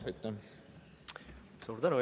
Suur tänu!